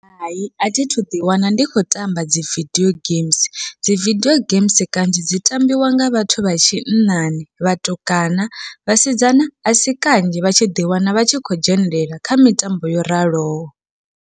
Hai athi thu ḓi wana ndi khou tamba dzi vidio games, dzi vidio games kanzhi dzi tambiwa nga vhathu vha tshinnani vhatukana vhasidzana asi kanzhi vha tshi ḓi wana vha tshi khou dzhenelela kha mitambo yo raloho.